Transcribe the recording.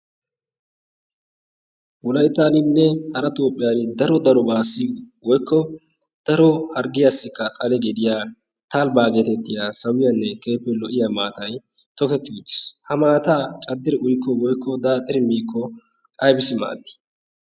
wulaitaaninne hara toophiyan daro daro baassi woikko daro harggiyaassikka xale geediya taalibaa geetettiya sawiyaanne keehippe lo7iya maatai toketti utiis. ha maataa caddiri uikko woikko daattiri miikko ibisi maaddii?